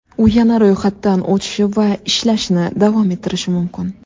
U yana ro‘yxatdan o‘tishi va ishlashni davom ettirishi mumkin.